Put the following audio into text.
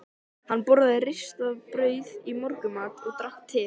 Hann borðaði ristað brauð í morgunmat og drakk te.